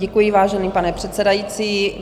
Děkuji, vážený pane předsedající.